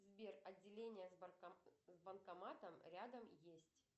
сбер отделение с банкоматом рядом есть